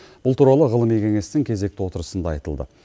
бұл туралы ғылыми кеңестің кезекті отырысында айтылды